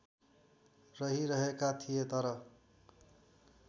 रहिरहेका थिए तर